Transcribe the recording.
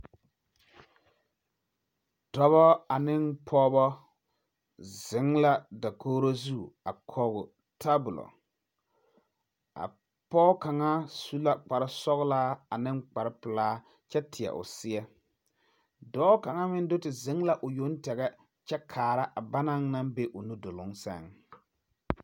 Dɔba ane pɔgeba ziŋ la dakoro zu a kɔge tabul ,a pɔge kaŋa su la kparresɔŋlaa ane kparrepilaa kyɛ teɛ o seɛ, dɔɔ kaŋa meŋ ye te ziŋ la o yoŋteŋɛ kyɛ kaara a banaŋ naŋ be o nu dɔloŋ seŋ.